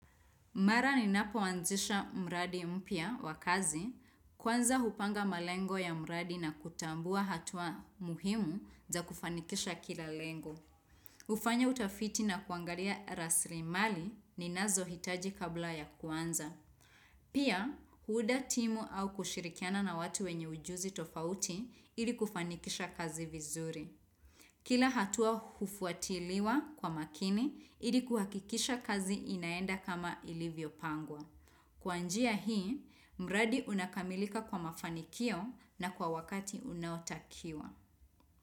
Mara ninapo ninapoanzisha mradi mpya wa kazi, kwanza hupanga malengo ya mradi na kutambua hatua muhimu za kufanikisha kila lengo. Ufanya utafiti na kuangalia raslimali ninazo hitaji kabla ya kuanza. Pia, kuunda timu au kushirikiana na watu wenye ujuzi tofauti ili kufanikisha kazi vizuri. Kila hatua hufuatiliwa kwa makini, ili kuhakikisha kazi inaenda kama ilivyo pangwa. Kwa njia hii, mradi unakamilika kwa mafanikio na kwa wakati unaotakiwa.